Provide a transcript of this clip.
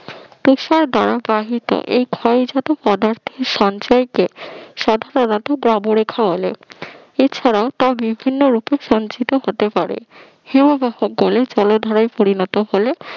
প্রসার দ্বারা বাহিত এই ক্ষয়জাত পদার্থের সঞ্চয়কে সাধারণত বাবরেখা বলে এছাড়াও তা বিভিন্ন রূপে সঞ্চিত হতে পারে হিমবাহ গলে জলধারায় পরিণত হলে